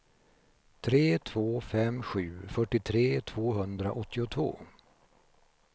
tre två fem sju fyrtiotre tvåhundraåttiotvå